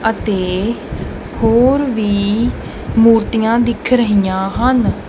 ਅਤੇ ਹੋਰ ਵੀ ਮੂਰਤੀਆਂ ਦਿਖ ਰਹੀਆਂ ਹਨ।